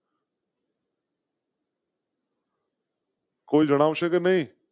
કોઈ જણાવ શે કે નહી.